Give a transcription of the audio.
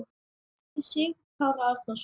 eftir Sigurð Kára Árnason